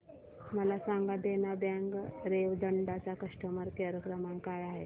मला सांगा देना बँक रेवदंडा चा कस्टमर केअर क्रमांक काय आहे